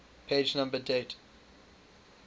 page number date